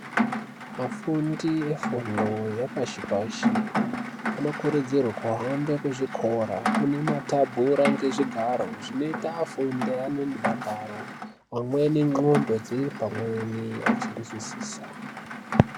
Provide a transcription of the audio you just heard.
Afundi efundo yepashi pashi anokurudzirwe kuhambe kuzvikora kune matabhura ngezvigaro zvinoita afunde ane mudakaro amerni ndxondo dziri pamweni achinzwisisa.